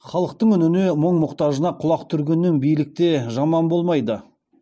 халықтың үніне мұң мұқтажына құлақ түргеннен билік те жаман болмайды